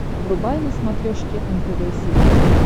врубай на смотрешке нтв сериал